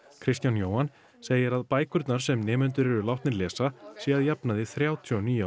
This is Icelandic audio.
Kristján Jóhann segir að bækurnar sem nemendur eru látnir lesa séu að jafnaði þrjátíu og níu ára